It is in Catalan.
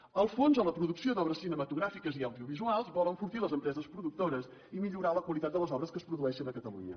el fons a la producció d’obres cinematogràfiques i audiovisuals vol enfortir les empreses productores i millorar la qualitat de les obres que es produeixen a catalunya